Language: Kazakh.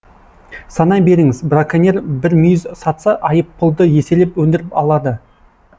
санай беріңіз браконьер бір мүйіз сатса айыппұлды еселеп өндіріп алады